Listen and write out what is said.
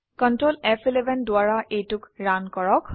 control ফ11 দ্বাৰা এইটোক ৰান কৰক